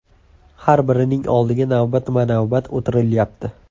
Har birining oldiga navbatma-navbat o‘tilyapti.